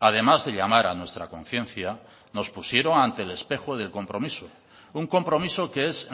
además de llamar a nuestra conciencia nos pusieron ante el espejo del compromiso un compromiso que es